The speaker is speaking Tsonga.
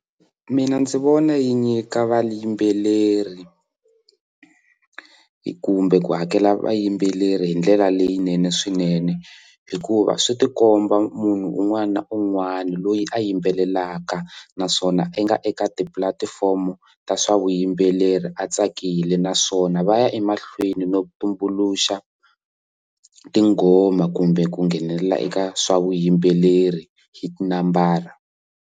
Mina ndzi vona yi nyika vayimbeleri kumbe ku hakela vayimbeleri hi ndlela leyinene swinene hikuva swi tikomba munhu un'wana na un'wana loyi a yimbelelaka naswona i nga eka tipulatifomo ta swa vuyimbeleri a tsakile naswona va ya emahlweni no tumbuluxa tinghoma kumbe ku nghenelela eka swa vuyimbeleri hi tinambara.